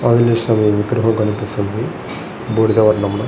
ఆంజనేయ స్వామి విగ్రహం కనిపిస్తుంది బూడిద వర్ణంలో.